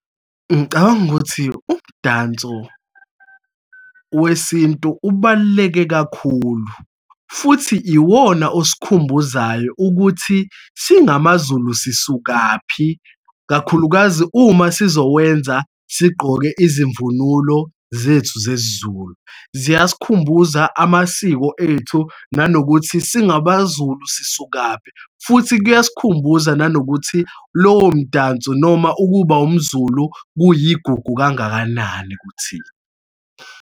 Ngicabanga ukuthi umdanso wesintu ubaluleke kakhulu futhi iwona osikhumbuzayo ukuthi singamaZulu sisukaphi, kakhulukazi uma sizowenza sigqoke izimvunulo zethu zesiZulu. Ziyasikhumbuza amasiko ethu nanokuthi singabaZulu sisukaphi, futhi kuyasikhumbuza nanokuthi lowo mdanso noma ukuba umZulu kuyigugu kangakanani kuthina.